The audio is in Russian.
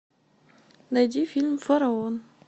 найди фильм фараон